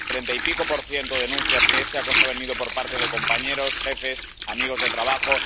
el treinta y pico por ciento denuncian que este acoso ha venido por parte de compañeros, jefes, amigos de trabajo...